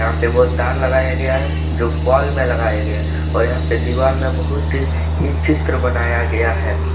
एक बहुत तार लगाया गया हैजो पोल में लगाया गया है और यहां पर दीवार में बहुत ई चित्र बनाया गया है।